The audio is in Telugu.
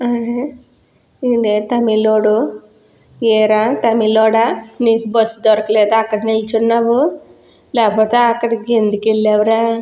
వీడె తమిలోడు ఏరా తమిలోడా నీకు బస్ దొరకలేదా అక్కడ నిలుచున్నావు లేపోతే అక్కడికి ఎందుకు వెళ్ళావుర --